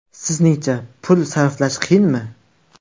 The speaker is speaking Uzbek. Sizningcha pul sarflash qiyinmi?